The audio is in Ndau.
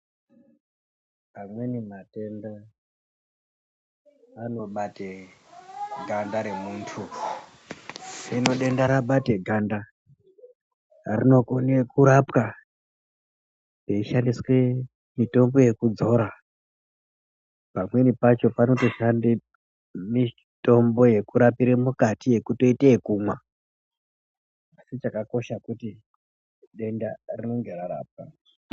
Amweni matenda anobate ganda remuntu hino denda rabate ganda rinokone kurapwa peishandiswe mitombo yekudzora pamweni pacho panotoshande mitombo yekurapire mukati yekuitote yekumwa asi chakakosha kuti denda rinenge rarapwa.